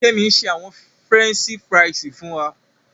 Kẹmí n ṣè àwọn Frẹnṣì fríṣì fún wà.